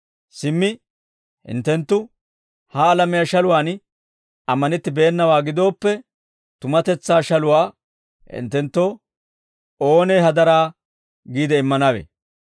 Simmi hinttenttu ha alamiyaa shaluwaan ammanettennawaa gidooppe, tumatetsaa shaluwaa hinttenttoo oonee hadaraa giide immanawe?